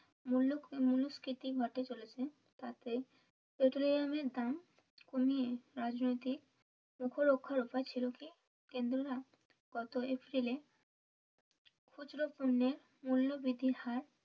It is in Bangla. মূল্য মূল্য স্ফীতি বাড়তে চলেছে তাতে পেট্রোলিয়ামের দাম কমিয়ে রাজনৈতিক ছিল কি কেন্দ্র রা গত এপ্রিল এ খুচরো পণ্যের মূল্য বৃদ্ধির হার